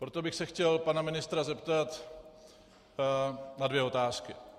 Proto bych se chtěl pana ministra zeptat na dvě otázky.